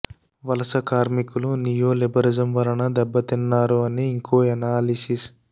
వలస కార్మికులు neoliberalism వలన దెబ్బ తిన్నారు అని ఇంకో ఎనాలిసిస్